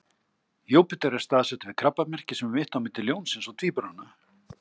Júpíter er staðsettur við Krabbamerkið sem er mitt á milli Ljónsins og Tvíburana.